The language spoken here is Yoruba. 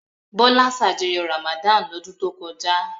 Bọ́lá ṣàjọyọ̀ Ramadan lọ́dún tó kọjá?